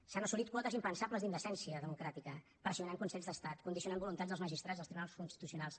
s’han assolit quotes impensables d’indecència democràtica pressionant consells d’estat condicionant voluntats dels magistrats dels tribunals constitucionals